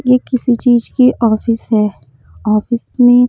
ये किसी चीज की ऑफिस है ऑफिस में।